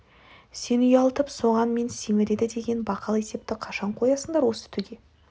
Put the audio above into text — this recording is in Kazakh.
сені ұялтып соған мен семіреді деген бақал есепті қашан қоясыңдар осы түге